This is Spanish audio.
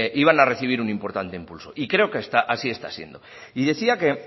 iban a recibir un importante impulso y creo que así está siendo y decía que